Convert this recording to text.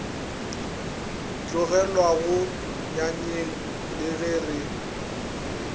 tlogelwago nyanyeng le ge re